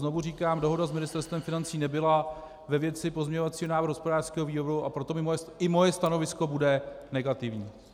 Znovu říkám, dohoda s Ministerstvem financí nebyla ve věci pozměňovacího návrhu hospodářského výboru, a proto i moje stanovisko bude negativní.